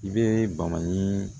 I bɛ bali